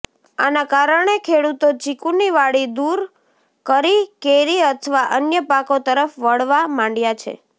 આના કારણે ખેડૂતો ચીકુની વાડી દૂર કરી કેરી અથવા અન્ય પાકો તરફ વળવા માંડયા છે